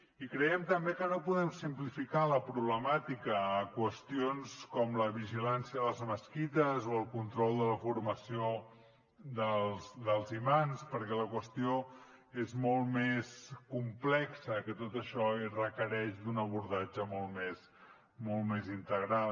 i creiem també que no podem simplificar la problemàtica a qüestions com la vigilància a les mesquites o el control de la formació dels imams perquè la qüestió és molt més complexa que tot això i requereix un abordatge molt més integral